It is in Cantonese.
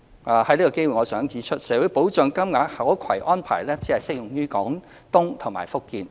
我想藉此機會指出，社會保障金額的可攜安排只適用於廣東和福建。